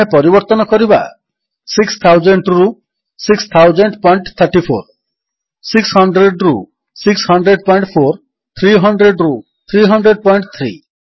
ଆମେ ପରିବର୍ତ୍ତନ କରିବା 6000 ରୁ 600034 600 ରୁ 6004 300 ରୁ 3003